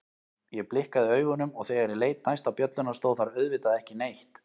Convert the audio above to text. Ég blikkaði augunum og þegar ég leit næst á bjölluna stóð þar auðvitað ekki neitt.